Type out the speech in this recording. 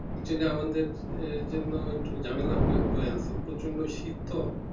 কিছু না আমাদের আহ জন্য একটু ঝামেলা বয়ে আনছে প্রচন্ড শীত তো।